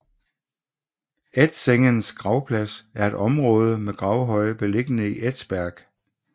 Edsängens gravplads er et område med gravhøje beliggende i Edsberg